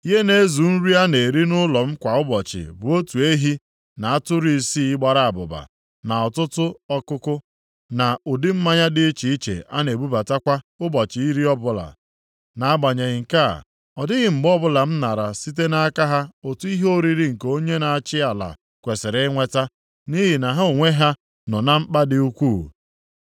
Ihe na-ezu nri a na-eri nʼụlọ m kwa ụbọchị bụ otu ehi na atụrụ isii gbara abụba, na ọtụtụ ọkụkụ, + 5:18 Maọbụ, ụmụ nnụnụ na ụdị mmanya dị iche iche a na-ebubata kwa ụbọchị iri ọbụla. Nʼagbanyeghị nke a, ọ dịghị mgbe ọbụla m nara site nʼaka ha ụtụ ihe oriri nke onye na-achị ala kwesiri inweta, nʼihi na ha onwe ha nọ na mkpa dị ukwuu.